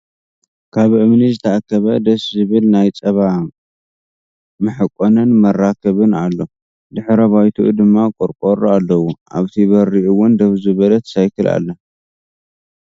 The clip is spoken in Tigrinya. ኣብ እምኒ ዝተኣከበ ደስ ዝብል ናይ ፃባ መሕቆንን መራከብን ኣሎ ድሕረ ባይትኡ ድማ ቆርቆሮ ኣለዎ። ኣብቲ በሪ እውን ደው ዝበለት ሳይክል ኣላ።